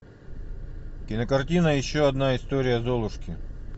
кинокартина еще одна история золушки